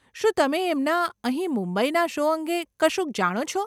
શું તમે એમનાં અહીં મુંબઈના શો અંગે કશુંક જાણો છો?